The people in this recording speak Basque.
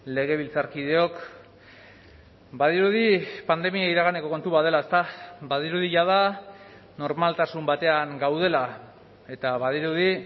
legebiltzarkideok badirudi pandemia iraganeko kontu bat dela ezta badirudi jada normaltasun batean gaudela eta badirudi